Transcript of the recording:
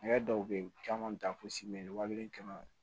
Hɛrɛ dɔw bɛ ye u caman bɛ taa fo simɛtiya kelen